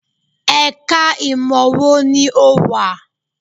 Ẹ̀ka ìmọ̀ wo ni ò wà?